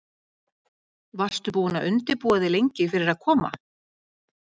Helga: Varstu búin að undirbúa þig lengi fyrir að koma?